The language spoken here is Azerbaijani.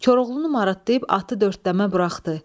Koroğlunu muradlayıb atı dördləmə buraxdı.